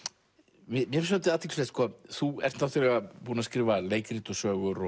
mér finnst svolítið athyglisvert sko þú ert náttúrulega búinn að skrifa leikrit og sögur